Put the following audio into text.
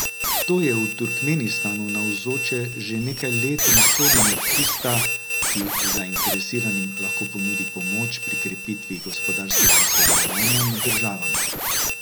To je v Turkmenistanu navzoče že nekaj let in sodi med tista, ki zainteresiranim lahko ponudi pomoč pri krepitvi gospodarskega sodelovanja med državama.